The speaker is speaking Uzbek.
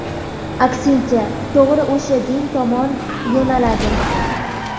aksincha to‘g‘ri o‘sha din tomon yo‘naladi.